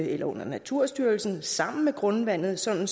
eller under naturstyrelsen sammen med grundvandet sådan